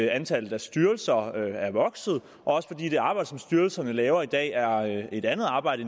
antallet af styrelser er vokset og også fordi det arbejde som styrelserne laver i dag er et andet arbejde